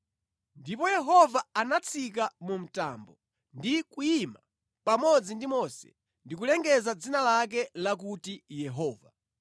Ndipo Yehova anatsika mu mtambo ndi kuyima pamodzi ndi Mose ndi kulengeza dzina lake lakuti Yehova.